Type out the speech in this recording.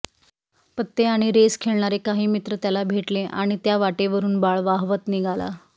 पत्ते आणि रेस खेळणारे काही मित्र त्याला भेटले आणि त्या वाटेवरून बाळ वाहवत निघाला